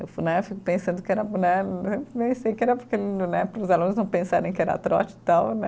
Eu fu né, fico pensando que era né, pensei que era porque né, para os alunos não pensarem que era trote e tal, né?